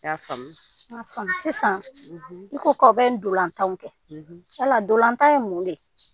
I y’a faamu ? N y’a faamu, sisan i ko k’a bi ndolantanw kɛ, yala ndolantan ye mun de ye ?